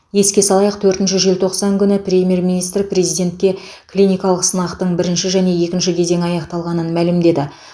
еске салайық төртінші желтоқсан күні премьер министр президентке клиникалық сынақтың бірінші және екінші кезеңі аяқталғанын мәлімдеді